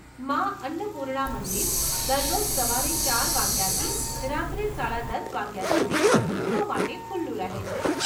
મા અન્નપૂર્ણા મંદિર દરરોજ સવારે ચાર વાગ્યાથી રાત્રે સાડા દસ વાગ્યા સુધી ભક્તો માટે ખુલ્લું રહે છે.